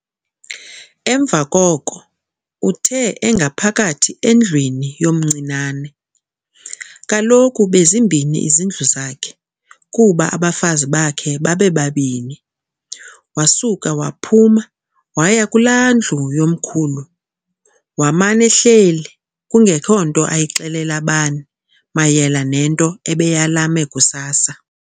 Emva koko uthe engaphakathi endlwini, Kaloku bezimbini izindlu zakhe, kuba abafazi bakhe babebabini, yomncinane, wasuka waphuma waya kulaa ndlu yomkhulu, waman'ehleli kungekho nto ayixelela bani mayela nento abeyalame kusasa.